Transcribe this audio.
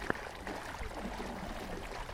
закачай компиляции